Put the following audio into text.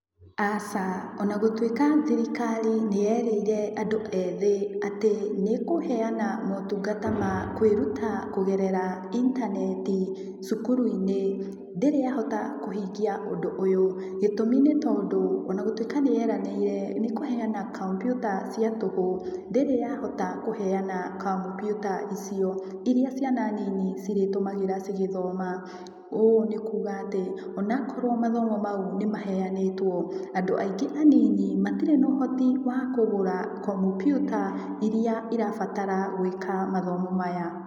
Aca onagũtwĩka thĩrikari nĩyerĩire andũ ethĩ atĩ nĩkũheyana motungata ma kwĩruta kũgerera intaneti cukuru -inĩ, ndĩrĩ yahota kũhingĩa ũndũ uyo, gĩtũmi nĩ tondũ onagũtwĩka nĩyeranĩire nĩ kũheyana komputa cia tũhũ ndĩrĩ yahota kũheana komputa icio iria ciana nini cirĩtũmagĩra cigĩthoma, ũũ nĩkuga atĩ onakorwo mathomo maũ nĩmaheyanĩtwo andũ aingĩ anini matirĩ na ũhoti wa kũgũra komputa irĩa irambatara gwĩka mathomo maya.